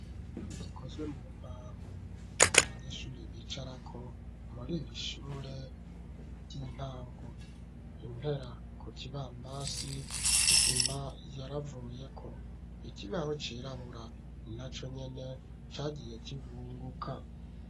Intebe zikozwe mu mbaho, abanyeshure bicarako muri iri shure ry'intango. Impera ku kibambazi, isima yaravuyeko. Ikibaho cirabura na co nyene cagiye kivunguka.